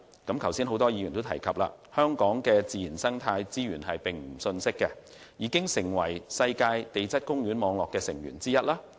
剛才多位議員都有提及，香港的自然生態資源並不遜色，已成為世界地質公園網絡的成員之一。